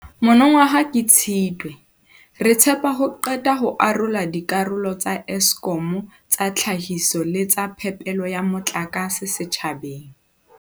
Mono waha ka Tshitwe, re tshepa ho qeta ho arola dikarolo tsa Eskom tsa tlhahiso le tsa phepelo ya motlakase setjhabeng.